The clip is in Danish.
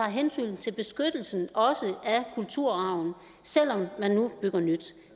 hensyn til beskyttelsen af kulturarven selv om man nu bygger nyt